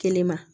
Kelen ma